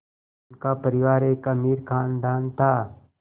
उनका परिवार एक अमीर ख़ानदान था